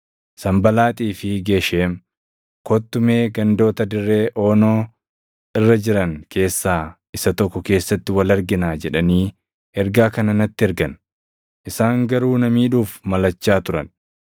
Sanbalaaxii fi Gesheem, “Kottu mee gandoota dirree Oonoo irra jiran keessaa isa tokko keessatti wal arginaa” jedhanii ergaa kana natti ergan. Isaan garuu na miidhuuf malachaa turan;